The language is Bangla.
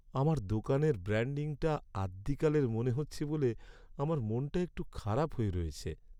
আমাদের দোকানের ব্র্যাণ্ডিংটা আদ্যিকালের মনে হচ্ছে বলে আমার মনটা একটু খারাপ হয়ে রয়েছে।